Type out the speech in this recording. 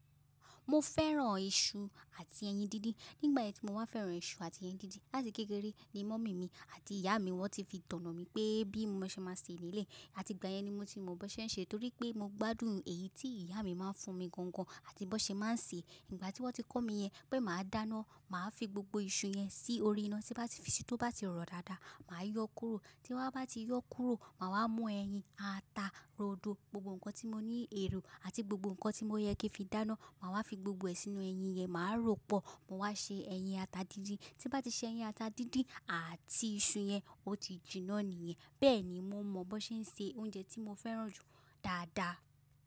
Mo fẹ́ràn iṣu àti ẹyin díndín. Nígbà yẹn tí mo máa fẹ́ràn iṣu àti ẹyin díndín láti kékeré ni mummy mi àti ìyá mi wọ́n ti fi toná mi pé bí mo ṣe máa ṣe le lé e Ati ìgbà yẹn ni mo ti mọ bí ṣe ń ṣe torí pé mo gbádùn èyí tí ìyá mi máa ń fún mi gangan àti bo ṣe máa ń ṣe. Igbà tí wọ́n ti kọ́ mi yẹn pé màá dáná, màá fi gbogbo iṣu yẹn sí orí iná, tí bá ti fi sí, tó bá ti rọ̀ dáadáa, màá yọ kúrò. Tí wọ́n bá ti yọ kúrò, màá wá mú ẹyin, ata, rodo, gbogbo nǹkan tí mo ní ẹ̀ro àti gbogbo nǹkan tí mo yẹ kí n fi dáná, màá wá fi gbogbo ẹ̀ sínú ẹyin yẹn, màá ròpọ̀, mo wá ṣe ẹyin ata díndín. Tí bá ti ṣe ẹyin ata díndín àti iṣu yẹn, ó ti jinná nìyẹn. Bẹ́ẹ̀ni, mo mọ bo ṣe ń ṣe oúnjẹ tí mo fẹ́ràn jù dáadáa.